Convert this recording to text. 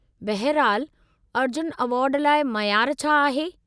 बहिरहालु, अर्जुन एवार्डु लाइ मयार छा आहे?